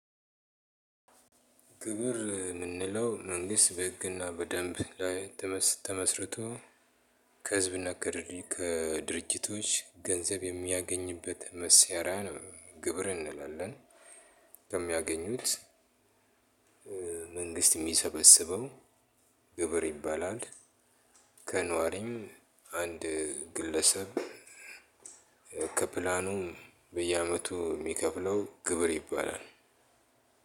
ግብር የምንለው መንግስት በህግ እና በደንብ ላይ ተመስርቶ፣ ከህዝብ እና ከድርጅቶች ገንዘብ የሚያገኝበት መሳሪያ ግብር እንላለን ከሚያገኙት። መንግስት የሚሰበስበው ግብር ይባላል። ከኗሪም አንድ ግለሰብ ከፕላኑ በየአመቱ የሚከፍለው ግብር ይባላል።